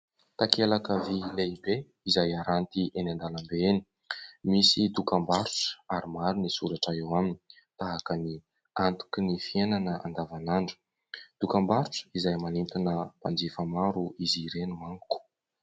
Takelaka vỳ lehibe izay haranty eny an-dalambe eny. Misy dokambarotra ary maro ny soratra eo aminy tahaka ny " Antoky ny fiainana andavanandro". Dokambarotra izay manentana mpanjifa maro izy ireny manko.